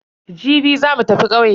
Jibi za mu tafi ƙauye.